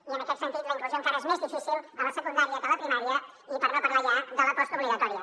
i en aquest sentit la inclusió encara és més difícil a la secundària que a la primària i per no parlar ja de la postobligatòria